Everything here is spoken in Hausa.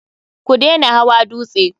Ku dena hawa dutse!